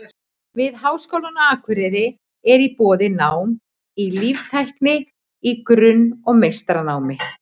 Við Háskólann á Akureyri er í boði nám í líftækni í grunn- og meistaranámi.